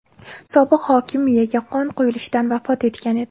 Sobiq hokim miyaga qon quyilishidan vafot etgan edi.